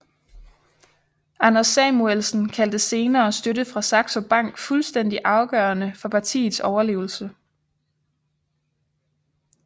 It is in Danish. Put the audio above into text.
Anders Samuelsen kaldte senere støtten fra Saxo Bank fuldstændig afgørende for partiets overlevelse